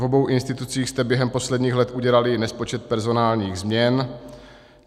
V obou institucích jste během posledních let udělali nespočet personálních změn.